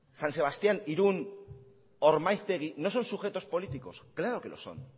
san sebastián irún ormaiztegi no son sujetos políticos claro que lo son